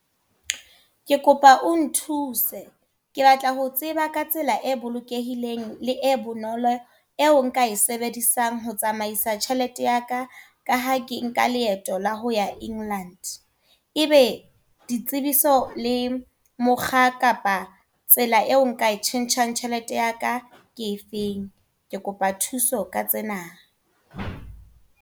Ke kopa o nthuse. Ke batla ho tseba ka tsela e bolokehileng le e bonolo, eo nka e sebedisang ho tsamaisa tjhelete yaka, ka ha ke nka leeto la ho ya England. E be ditsebiso le mokga kapa tsela e o nka e tjhentjhang tjhelete yaka ke efeng? Ke kopa thuso ka tsena.